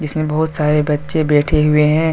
इसमें बहोत सारे बच्चे बैठे हुए हैं।